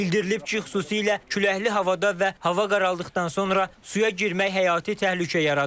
Bildirilib ki, xüsusilə küləkli havada və hava qaraldıqdan sonra suya girmək həyati təhlükə yaradır.